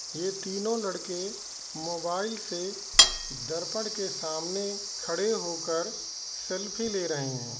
यह तीनों लड़के मोबाइल से दर्पण के सामने खड़े होकर सेल्फी ले रहे हैं।